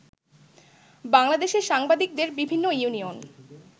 বাংলাদেশের সাংবাদিকদের বিভিন্ন ইউনিয়ন